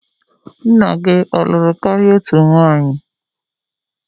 Nna gi ọ lụrụ kari otu nwunye?